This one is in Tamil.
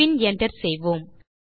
பின் Enter செய்வோம்